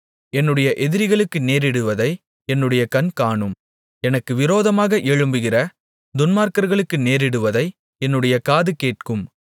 என்னுடைய எதிரிகளுக்கு நேரிடுவதை என்னுடைய கண் காணும் எனக்கு விரோதமாக எழும்புகிற துன்மார்க்கர்களுக்கு நேரிடுவதை என்னுடைய காது கேட்கும்